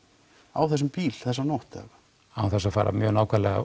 á þessum bíl þessa nótt án þess að fara mjög nákvæmlega